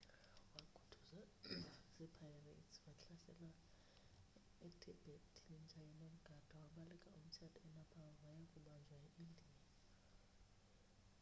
wakhuthuzwa zi-pirates wahlaselwa etibet yinja enomgada wabaleka umtshato enepal waya kubanjwa eindiya